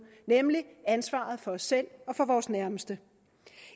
nemlig ansvaret for os selv og for vores nærmeste